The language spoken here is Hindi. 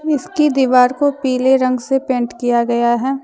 इसकी दीवार को पीले रंग से पेंट किया गया है।